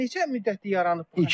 Neçə müddətdir yaranıb bu?